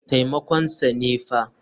Taimakon sa ne fa.